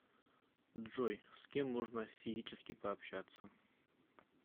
джой с кем можно физически пообщаться